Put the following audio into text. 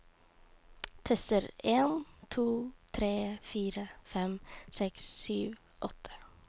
Tester en to tre fire fem seks sju åtte